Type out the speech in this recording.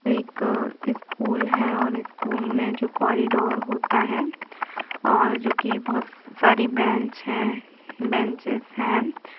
एक स्कूल है और स्कूल में जो कोरिडोर होता है और जो कि बहोत सारी बेंच हैं बेंचेस है।